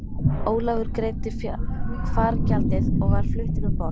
Ólafur greiddi fargjaldið og var fluttur um borð.